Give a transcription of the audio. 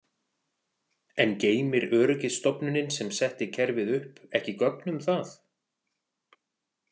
En geymir öryggisstofnunin sem setti kerfið upp ekki gögn um það?